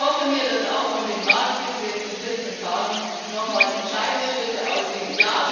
Und ich erhoffe mir, dass auch von dem Ratsgipfel jetzt in 14 Tagen noch mal entscheidende Schritte ausgehen.